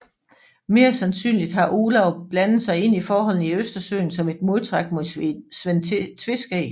Mere sandsynligt har Olav blandet sig ind i forholdene i Østersøen som et modtræk mod Svend Tveskæg